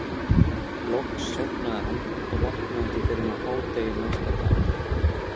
Loks sofnaði hann og vaknaði ekki fyrr en á hádegi næsta dag.